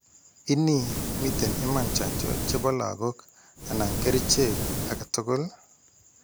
Ini, miten iman chanjo chepo lagok anan kerchek aketugul?